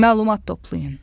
Məlumat toplayın.